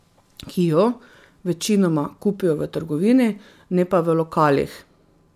Ki jo, večinoma, kupijo v trgovini, ne pa v lokalih.